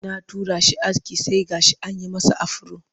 Na tura shi aske sai gashi an yi masa afiro